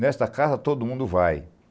Nesta casa, todo mundo vai._